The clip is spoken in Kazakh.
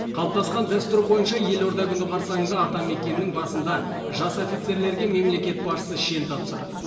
қалыптасқан дәстүр бойынша елорда күні қарсаңында атамекеннің басында жас офицерлерге мемлекет басшысы шен тапсырады